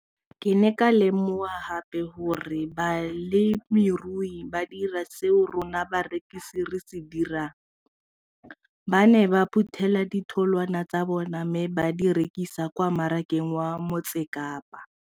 Ke ne ka lemoga gape gore balemirui ba dira seo rona barekisi re se dirang ba ne ba phuthela ditholwana tsa bona mme ba di rekisa kwa marakeng wa Motsekapa.